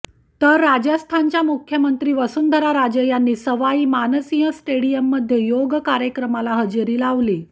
तर राजस्थानच्या मुख्यमंत्री वसुंधरा राजे यांनी सवाई मानसिंह स्टेडिअममध्ये योग कार्यक्रमाला हजेरी लावली